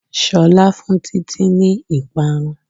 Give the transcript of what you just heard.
Ṣolá fun títí ní ìparun